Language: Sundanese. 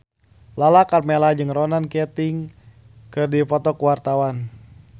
Lala Karmela jeung Ronan Keating keur dipoto ku wartawan